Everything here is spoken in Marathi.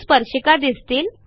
दोन स्पर्शिका दिसतील